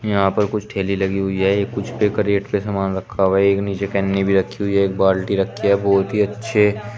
यहां पर कुछ ठेली लगी हुई है ये कुछ पे क्रेट पे सामान रखा हुआ एक नीचे कन्नी भी रखी हुई है एक बाल्टी रखी है बहुत ही अच्छे।